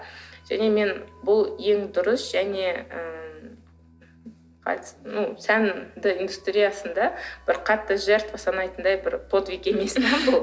және мен бұл ең дұрыс және ы сәнді индустриясында бір қатты жертва санайтындай бір подвиг емес